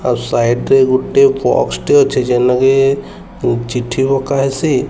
ଆଉ ସାଇଟ୍ରେ ଗୁଟେ ବସ୍ ଟେ ଅଛି। ଜେନକି ଚିଠି ପକାହେଇଚି।